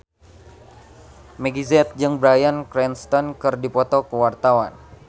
Meggie Z jeung Bryan Cranston keur dipoto ku wartawan